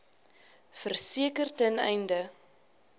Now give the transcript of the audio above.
verseker ten einde